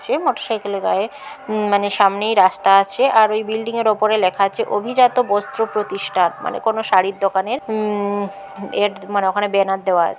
Motor cycle -এর গায়ের উমম মানে সামনেই রাস্তা আছে আর ওই বিল্ডিং -এর ওপরে লেখা আছে অভিজাত বস্ত্র প্রতিষ্ঠার মানে কোন শাড়ির দোকানের উমম এর মানে ওখানে ব্যানার দেওয়া আছে ।